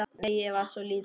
Nei, ég var svo lítil.